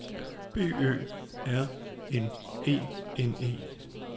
B Ø R N E N E